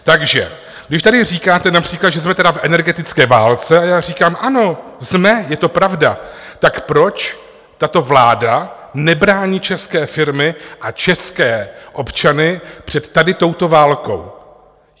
Takže když tady říkáte například, že jsme tedy v energetické válce, a já říkám ano, jsme, je to pravda, tak proč tato vláda nebrání české firmy a české občany před tady touto válkou?